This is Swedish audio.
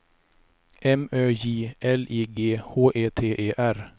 M Ö J L I G H E T E R